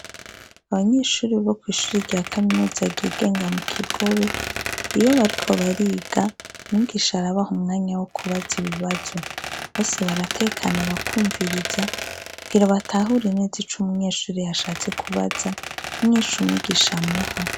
Abanyeshuri bo kw'ishure rya kaminuza ryigenga mu kigobe, iyo bariko bariga mwigisha arabaha umwanya wokubaza ibibazo, bose baratekana bakumviriza kugira batahure neza ico umunyeshure yashatse kubaza, n'inyishu umwigisha amuha.